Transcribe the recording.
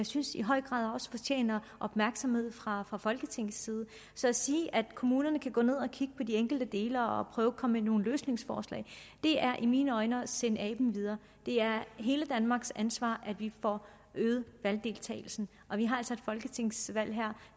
synes i høj grad fortjener opmærksomhed fra fra folketingets side så at sige at kommunerne kan gå ned og kigge på de enkelte dele og og prøve at komme med nogle løsningsforslag er i mine øjne at sende aben videre det er hele danmarks ansvar at vi får øget valgdeltagelsen og vi har altså et folketingsvalg her